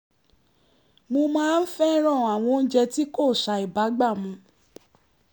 mo máa ń fẹ́ràn àwọn oúnjẹ tí kò ṣàìbágbà mu